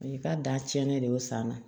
I ka da tiɲɛni de y'o san na